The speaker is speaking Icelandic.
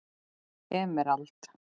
Emerald